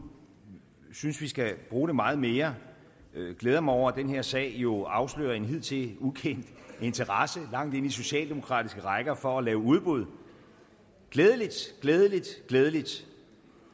synes vi skal bruge det meget mere jeg glæder mig over at den her sag jo afslører en hidtil ukendt interesse langt ind i socialdemokratiske rækker for at lave udbud glædeligt glædeligt glædeligt